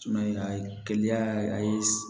a ye kɛnɛya a ye